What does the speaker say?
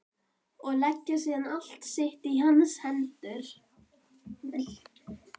Og leggja síðan allt sitt í hans hendur.